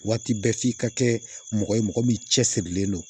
Waati bɛɛ f'i ka kɛ mɔgɔ ye mɔgɔ min cɛsirilen don